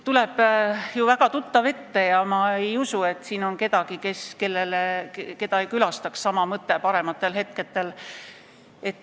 Tuleb ju väga tuttav ette ja ma ei usu, et siin on kedagi, keda parematel aegadel sama mõte ei külastaks.